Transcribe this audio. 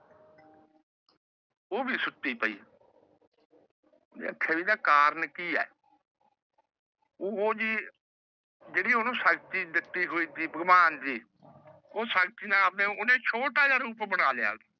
ਉਹ ਵੀ ਸੁੱਤੀ ਪਾਈ। ਓਹਨੇ ਆਖਿਆ ਇਹਦਾ ਕਾਰਨ ਕੇ ਏ? ਉਹ ਜੀ ਜਿਹੜੀ ਓਹਨੂੰ ਸ਼ਕਤੀ ਦਿੱਤੀ ਹੋਈ ਸੀ ਭਗਵਾਨ ਨੇ ਉਹ ਸ਼ਕਤੀ ਨਾਲ ਓਹਨੇ ਆਪਣਾ ਛੋੱਟਾ ਜਿਹਾ ਰੂਪ ਬਣਾ ਲਿਆ।